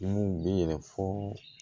Kun bɛ yɛlɛn fo